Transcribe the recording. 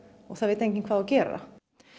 og það veit enginn hvað á að gera